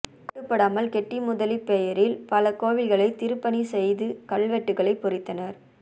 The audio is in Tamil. கட்டுப்படாமல் கெட்டி முதலி பெயரில் பல கோவில்களை திருப்பணி செய்து கல்வெட்டுக்கள் பொறித்தனர்